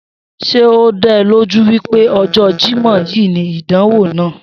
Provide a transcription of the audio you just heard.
S̩e ó dá o̩ lójú wípé o̩jó̩ Jímò̩ yìí ni ìdánwò náà?